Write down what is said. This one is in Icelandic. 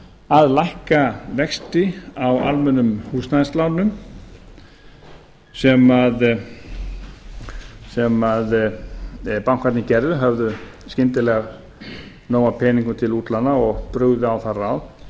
að lækka vexti á almennum húsnæðislánum sem bankarnir gerðu höfðu skyndilega nóg af peningum til útlána og brugðu á það ráð